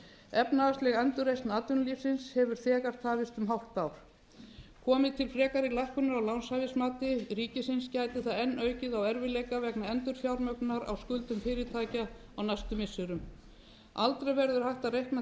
efnahagsleg endurreisn atvinnulífsins hefur þegar tafist um hálft ár komi til frekari lækkunar á lánshæfismati ríkisins gæti það enn aukið á erfiðleika vegna endurfjármögnunar á skuldum fyrirtækja á næstu misserum aldrei verður hægt að reikna